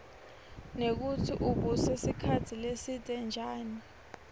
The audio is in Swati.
nekutsi ubuse sikhatsi lesidze njani